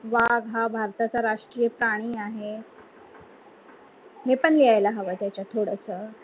वाघ हा भारताचा राष्ट्रीय प्राणी आहे. हे पण लिहायला हवा त्याचा आत थोडासा